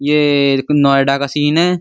ये नोएडा का सीन है।